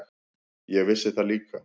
Ég vissi það líka.